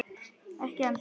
Ekki ennþá.